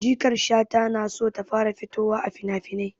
Jikar Shata na so ta fara fitowa a finafinai.